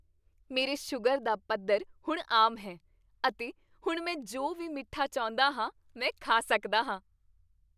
ਮੇਰੇ ਸ਼ੂਗਰ ਦਾ ਪੱਧਰ ਹੁਣ ਆਮ ਹੈ ਅਤੇ ਹੁਣ ਮੈਂ ਜੋ ਵੀ ਮਿੱਠਾ ਚਾਹੁੰਦਾ ਹਾਂ ਮੈਂ ਖਾ ਸਕਦਾ ਹਾਂ।